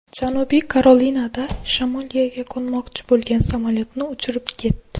Janubiy Karolinada shamol yerga qo‘nmoqchi bo‘lgan samolyotni uchirib ketdi .